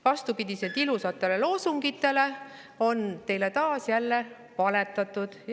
Vastupidiselt ilusatele loosungitele on teile taas valetatud.